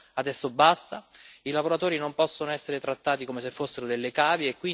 Adesso basta, i lavoratori non possono essere trattati come se fossero delle cavie.